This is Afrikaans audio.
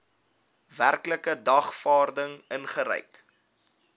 werklike dagvaarding uitgereik